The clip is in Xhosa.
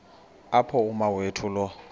apho umawethu lo